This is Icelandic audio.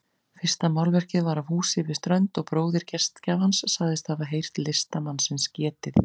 Fyrsta málverkið var af húsi við strönd og bróðir gestgjafans sagðist hafa heyrt listamannsins getið.